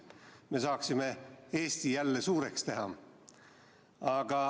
Me saaksime Eesti jälle suureks teha.